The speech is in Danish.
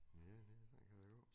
Ja det sådan kan det gå